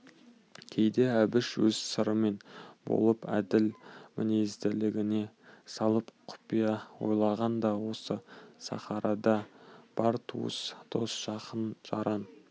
кейде әбіш өз сырымен болып әділ мінезділігіне салып құпия ойлағанда осы сахарада бар туыс дос жақын-жаран